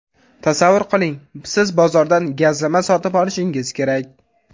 Tasavvur qiling, siz bozordan gazlama sotib olishingiz kerak.